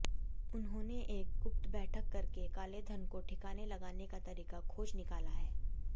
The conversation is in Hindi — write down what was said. उन्होंने एक गुप्त बैठक करके कालेधन को ठिकाने लगाने का तरीका खोज निकाला है